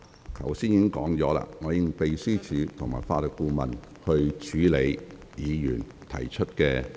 我剛才已說過，我會指示秘書處和法律顧問處理議員提出的問題。